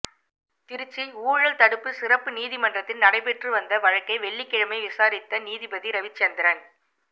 திருச்சி ஊழல் தடுப்பு சிறப்பு நீதிமன்றத்தில் நடைபெற்று வந்த வழக்கை வெள்ளிக்கிழமை விசாரித்த நீதிபதி ரவிசந்திரன்